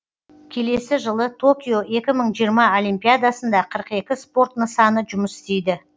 келесі жылы токио екі мың жиырма олимпиадасында қырық екі спорт нысаны жұмыс істейді